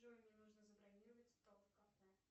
джой мне нужно забронировать стол в кафе